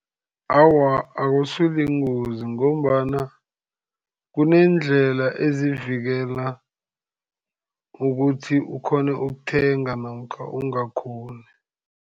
Awa, akusi yingozi. Ngombana kuneendlela ezivikela ukuthi ukghone ukuthenga namkha ungakghoni.